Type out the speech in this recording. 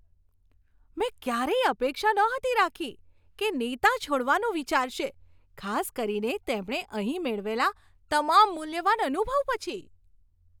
મેં ક્યારેય અપેક્ષા નહોતી રાખી કે નેતા છોડવાનું વિચારશે, ખાસ કરીને તેમણે અહીં મેળવેલા તમામ મૂલ્યવાન અનુભવ પછી.